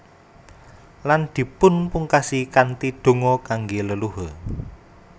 Lan dipunpungkasi kanthi donga kangge leluhur